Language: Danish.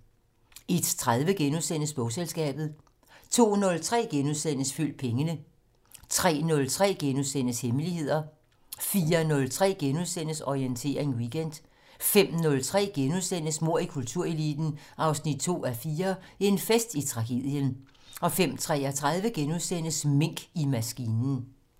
01:30: Bogselskabet * 02:03: Følg pengene * 03:03: Hemmeligheder * 04:03: Orientering Weekend * 05:03: Mord i kultureliten 2:4 - En fest i tragedien * 05:33: Mink i maskinen *